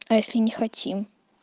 а если не хотим